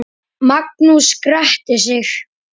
Hjartað slær ört.